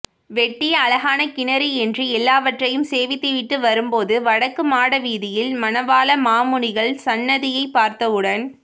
வெட்டிய அழகான கிணறு என்று எல்லாவற்றையும் சேவித்துவிட்டு வரும் போது வடக்கு மாட வீதியில் மணவாள மாமுனிகள் சந்நதியை பார்த்தவுடன்